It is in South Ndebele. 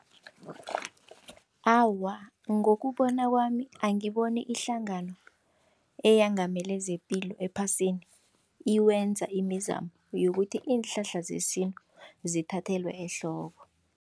Awa, ngokubona kwami angiboni ihlangano eyengamele zepilo ephasini ikwenza imizamo yokuthi iinhlahla zesintu zithathelwe ehloko.